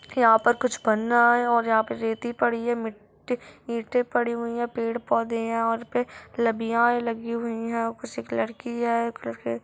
यहाँ पर कुछ बन रहा है और यहाँ पर रेती पड़ी है मिट्टी ईंटे पड़े हुए है पेड़-पौधे भी है और यहाँ पे लबियाए लगी हुई है उसी कलर की है।